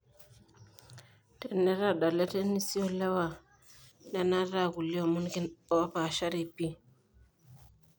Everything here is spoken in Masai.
Tenetadale tenisi olewa nenata aa kulie omon opashari pii.